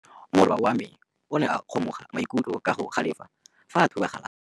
Morwa wa me o ne a kgomoga maikutlo ka go galefa fa a thuba galase.